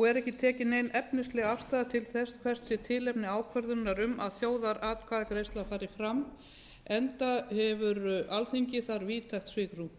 og er ekki tekin nein efnisleg afstaða til þess hvert sé tilefni ákvörðunar um að þjóðaratkvæðagreiðsla fari fram enda hefur alþingi þar víðtækt svigrúm